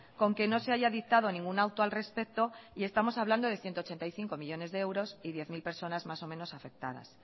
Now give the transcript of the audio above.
con que no se haya dictado ningún auto al respecto y estamos hablando de ciento ochenta y cinco millónes de euros y diez mil personas más o menos afectadas